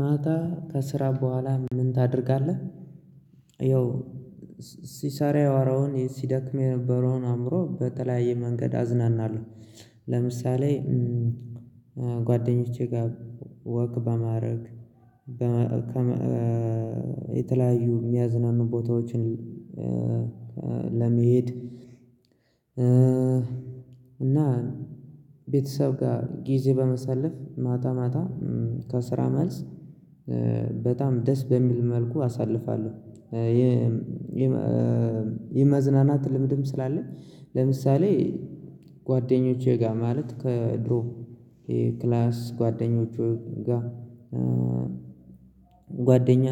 ማታ ከስራ በኋላ ምን ታደርጋለህ? ያው ሲሰራ ያወራውን ሲደክም የነበረውን አእምሮ በተለያየ መንገድ አዝናናለሁ። ለምሳሌ ጓደኞቼ ጋር ወግ በማድረግ የተለያዩ የሚያዝናኑ ቦታዎችን። ለመሄድ እና ቤተሰብ ጋር ጊዜ በመሳለፍ ማታ ማታ ከስራ መልስ በጣም ደስ በሚል መልኩ አሳልፋለሁ። ይህ ም የመዝናናት ልምድም ስላለ ለምሳሌ ጓደኞቼ ጋር ማለት ከድሮ የክላስ ጓደኞቹ ጋር ጓደኛ።